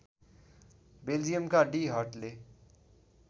बेल्जियमका डी हटले